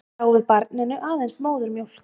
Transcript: Gáfu barninu aðeins móðurmjólk